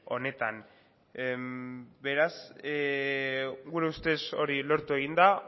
honetan beraz gure ustez hori lortu egin da